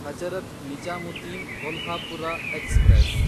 Hazrat Nizamuddin Kolhapur express